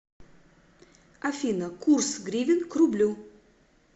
афина курс гривен к рублю